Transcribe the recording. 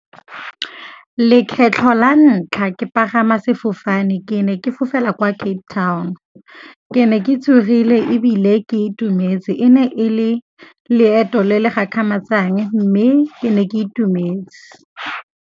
Lekgetlho la ntlha ke pagama sefofane ke ne ke fofela kwa Cape Town, ke ne ke tsogile ebile ke itumetse. E ne e le leeto le le gakgamatsang mme ke ne ke itumetse.